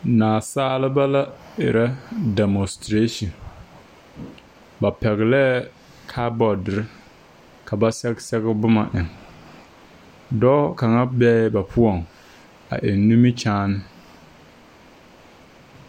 Nasaaleba la erɛ 'demostration' ba pɛglɛɛ kaabɔɔdere ka ba sɛge sɛge boma eŋ, dɔɔ kaŋa bee la ba poɔŋ, a eŋ nimiri kyaane